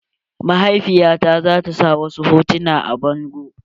Mahaifiya ta zata sa wasu hotuna a bango.